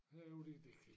Herovre det det kan ik